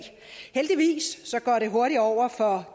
heldigvis går det hurtigt over for